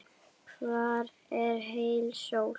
Hvar er heil sól?